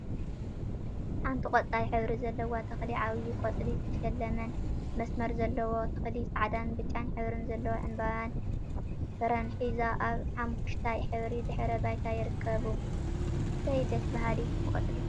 ሓንቲ ቆጻል ሕብሪ ዘለዋ ተክሊ ዓብይ ቆጽሊ ዝተሸለመን መስመር ዘለዎን ተክሊ ጻዕዳን ብጫን ሕብሪ ዘለዎ ዕምበባን ፍረን ሒዛ ኣብ ሓመኩሽታይ ሕብሪ ድሕረ ባይታ ይርከቡ። እሰይ ደስ በሃሊት ቆጽሊ!